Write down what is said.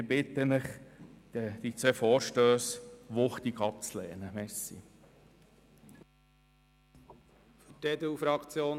Ich bitte Sie, diese beiden Vorstösse wuchtig abzulehnen.